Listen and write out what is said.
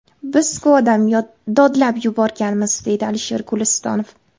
Biz-ku odam, dodlab yuborganmiz”, deydi Alisher Gulistonov.